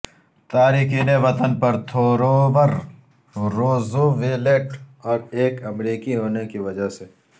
تارکین وطن پر تھورور روزویلٹ اور ایک امریکی ہونے کی وجہ سے